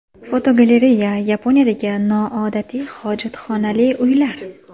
Fotogalereya: Yaponiyadagi noodatiy hojatxonali uylar.